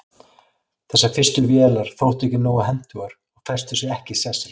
þessar fyrstu vélar þóttu ekki nógu hentugar og festu sig ekki í sessi